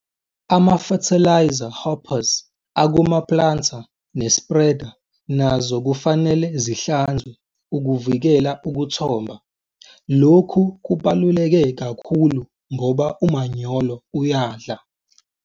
Ama-fertiliser hoppers akuma-planter ne-spreader nazo kufanele zihlanzwe ukuvikela ukuthomba, lokhu kubaluleke kakhulu ngoba umanyolo uyadla.